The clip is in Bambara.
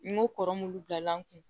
N ko kɔrɔmulu bilala n kun